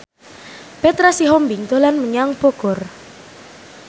Petra Sihombing dolan menyang Bogor